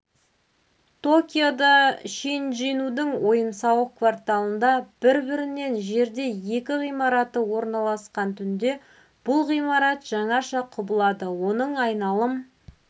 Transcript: токиода шинджинудің ойын-сауық кварталында бір-бірінен жерде екі ғимараты орналасқан түнде бұл ғимарат жаңаша құбылады оның айналым